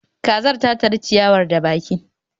kazar ta tari ciyawar da baki